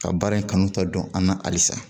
Ka baara in kanu ta dɔn an na halisa